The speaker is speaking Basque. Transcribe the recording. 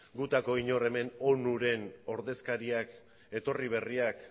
gutako inork hemen onuren ordezkariak etorri berriak